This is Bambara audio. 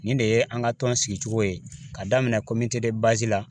Nin de ye an ka tɔn sigicogo ye ka daminɛ la